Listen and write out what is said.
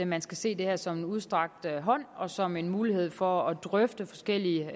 man skal se det her som en udstrakt hånd og som en mulighed for at drøfte forskellige